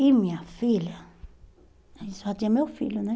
E minha filha, aí só tinha meu filho, né?